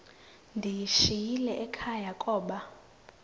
ndiyishiyile ekhaya koba